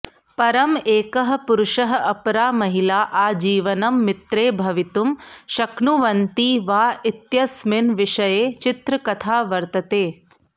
परं एकः पुरुषः अपरा महिला आजीवनं मित्रे भवितुं शक्नुवन्ति वा इत्यस्मिन् विषये चित्रकथा वर्तते